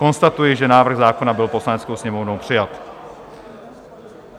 Konstatuji, že návrh zákona byl Poslaneckou sněmovnou přijat.